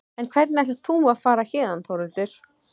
En hvernig ætlar þú að fara héðan Þórhildur?